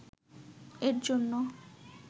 এর জন্য